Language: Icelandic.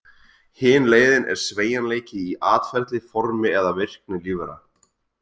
Hin leiðin er sveigjanleiki í atferli, formi eða virkni lífvera.